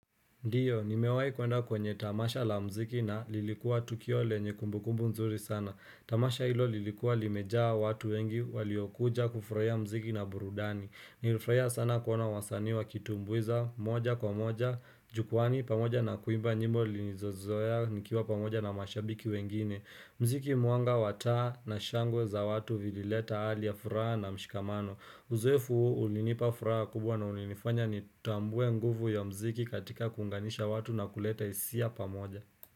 Ndiyo, nimewahi kuenda kwenye tamasha la muziki na lilikuwa tukio lenye kumbu kumbu nzuri sana. Tamasha hilo lilikuwa limejaa watu wengi waliokuja kufurahia muziki na burudani. Nilifurahia sana kuona wasanii wakitumbuiza, moja kwa moja, jukwaani, pamoja na kuimba nyimbo nilinizozoea, nikiwa pamoja na mashabiki wengine. Mziki mwanga wa taa na shangwe za watu vilileta hali ya furaha na mshikamano. Uzoefu ulinipa furaha kubwa na ulinifanya nitambue nguvu ya muziki katika kuunganisha watu na kuleta hisia pamoja.